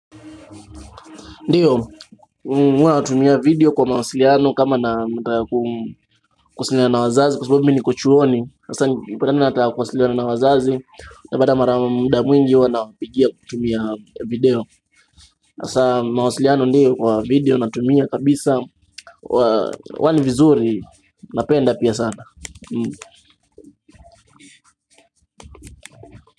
Ndiyo, huaunaatumia video kwa mawasiliano kama nataka kuwasiliana na wazazi Kwa sababu mimi niko chuoni ikipata mimi nataka kuwasiliana na wazazi utapata mara muda mwingi huwa nawapigia kutumia video hasa mawasiliano ndiyo kwa video natumia kabisa huwa ni vizuri napenda pia sana.